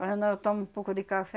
Quando não, eu tomo um pouco de café.